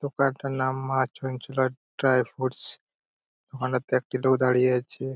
দোকানটার নাম মা ছুনছুলার ড্রাই ফুডস দোকানটাতে একটি লোক দাঁড়িয়ে আছে।